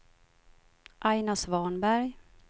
Aina Svanberg